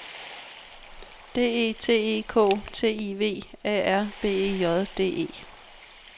D E T E K T I V A R B E J D E